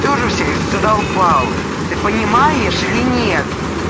ты уже всех задолбал ты понимаешь или нет